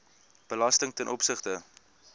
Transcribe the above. belasting ten opsigte